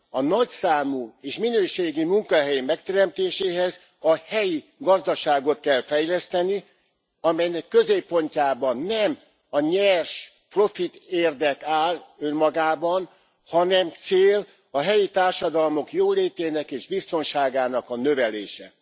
A nagyszámú és minőségi munkahely megteremtéséhez a helyi gazdaságot kell fejleszteni, amelynek középpontjában nem a nyers profitérdek áll önmagában, hanem cél a helyi társadalmak jólétének és biztonságának a növelése.